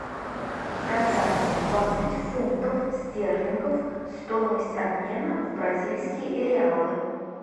продать двадцать фунтов стерлингов стоимость обмена в бразильские реалы